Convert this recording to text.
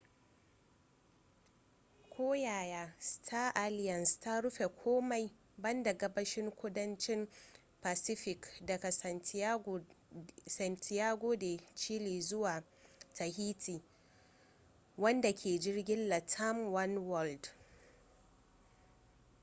koyaya star alliance ta rufe komai banda gabashin kudancin pacific daga santiago de chile zuwa tahiti wanda ke jirgin latam oneworld